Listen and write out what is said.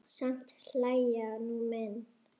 Samt hlæja nú menn.